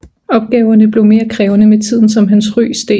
Opgaverne blev mere krævende med tiden som hans ry steg